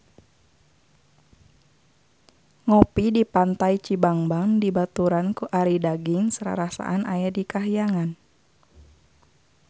Ngopi di Pantai Cibangban dibaturan ku Arie Daginks rarasaan aya di kahyangan